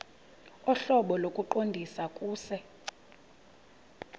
ohlobo lokuqondisa kuse